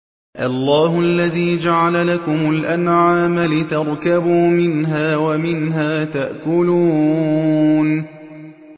اللَّهُ الَّذِي جَعَلَ لَكُمُ الْأَنْعَامَ لِتَرْكَبُوا مِنْهَا وَمِنْهَا تَأْكُلُونَ